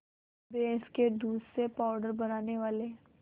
भैंस के दूध से पावडर बनाने वाले